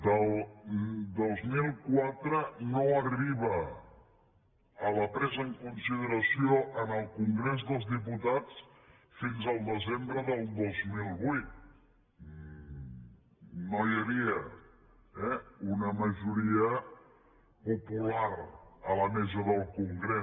del dos mil quatre no arriba a la presa en consideració en el congrés dels diputats fins al desembre del dos mil vuit no hi havia eh una majoria popular a la mesa del congrés